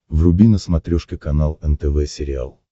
вруби на смотрешке канал нтв сериал